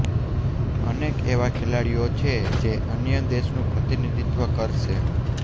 અનેક એવા ખેલાડીઓ છે જે અન્ય દેશનું પ્રતિનિધિત્વ કરશે